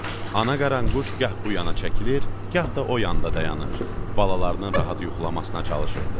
Ana qaranquş gah bu yana çəkilir, gah da o yanda dayanır, balalarının rahat yuxulamasına çalışırdı.